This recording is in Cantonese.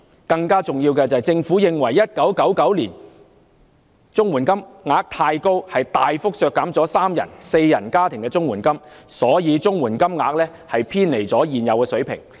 更重要的是，政府在1999年認為綜援金額太高，大幅削減了三人及四人家庭的綜援金額，故此綜援金額早已偏離應有的水平。